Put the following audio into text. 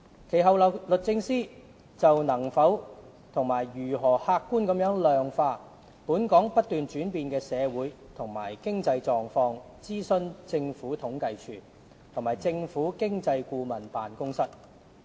其後，律政司就能否和如何客觀地量化"本港不斷轉變的社會和經濟狀況"，諮詢政府統計處及政府經濟顧問辦公室。